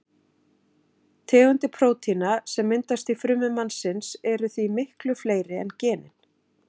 Tegundir prótína sem myndast í frumum mannsins eru því miklu fleiri en genin.